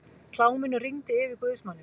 Kláminu rigndi yfir guðsmanninn.